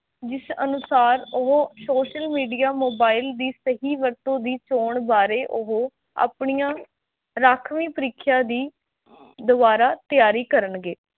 ਜਿਸ ਅਨੁਸਾਰ ਉਹ social media, mobile ਦੀ ਸਹੀ ਵਰਤੋਂ ਦੀ ਚੋਣ ਬਾਰੇ ਉਹ ਆਪਣੀਆਂ ਰਾਖਵੀਂ ਪ੍ਰਿਖਿਆ ਦੀ ਦੁਆਰਾ ਤਿਆਰੀ ਕਰਨਗੇ।